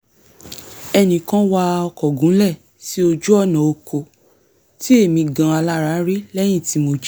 ẹnìkan wa ọkọ̀ gúnlẹ̀ sí ojú-ọ̀nà ọkọ̀ tí èmì gan-an alára rí lẹ́yìn tí mo jí